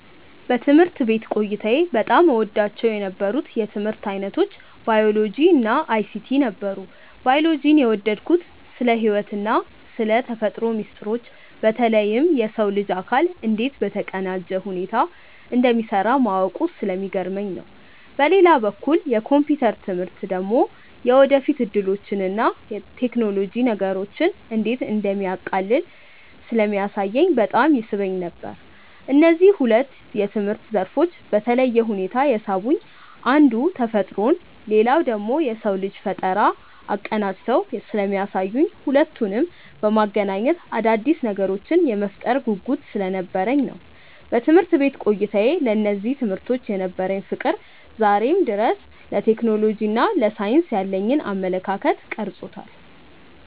በትምህርት ቤት ቆይታዬ በጣም እወዳቸው የነበሩት የትምህርት ዓይነቶች ባዮሎጂ እና አይሲቲ ነበሩ። ባዮሎጂን የወደድኩት ስለ ሕይወትና ስለ ተፈጥሮ ሚስጥሮች በተለይም የሰው ልጅ አካል እንዴት በተቀናጀ ሁኔታ እንደሚሠራ ማወቁ ስለሚገርመኝ ነው። በሌላ በኩል የኮምፒውተር ትምህርት ደግሞ የወደፊት ዕድሎችንና ቴክኖሎጂ ነገሮችን እንዴት እንደሚያቃልል ስለሚያሳየኝ በጣም ይስበኝ ነበር። እነዚህ ሁለት የትምህርት ዘርፎች በተለየ ሁኔታ የሳቡኝ አንዱ ተፈጥሮን ሌላኛው ደግሞ የሰውን ልጅ ፈጠራ አቀናጅተው ስለሚያሳዩኝና ሁለቱንም በማገናኘት አዳዲስ ነገሮችን የመፍጠር ጉጉት ስለነበረኝ ነው። በትምህርት ቤት ቆይታዬ ለእነዚህ ትምህርቶች የነበረኝ ፍቅር ዛሬም ድረስ ለቴክኖሎጂና ለሳይንስ ያለኝን አመለካከት ቀርጾታል።